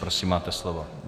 Prosím, máte slovo.